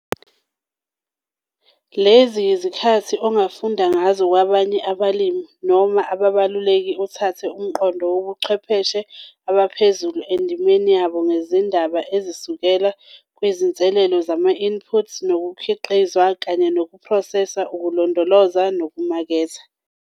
Lezi yizikhathi ongafunda ngazo kwabanye abalimi noma abeluleki uthathe umqondo wochwepheshe abaphezulu endimeni yabo ngezindaba ezisukela kuzinselelo zama-inputs nokukhiqiza kanye nokuphroseswa, ukulondoloza nokumaketha.